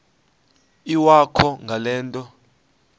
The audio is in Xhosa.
iwakho ngale nto